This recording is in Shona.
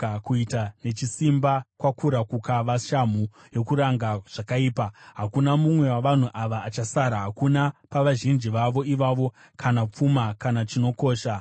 Kuita nechisimba kwakura kukava shamhu yokuranga zvakaipa; hakuna mumwe wavanhu ava achasara, hakuna pavazhinji vavo ivavo, kana pfuma kana chinokosha.